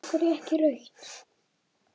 Af hverju ekki rautt?